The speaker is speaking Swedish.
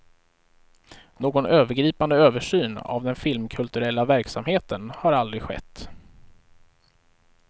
Någon övergripande översyn av den filmkulturella verksamheten har aldrig skett.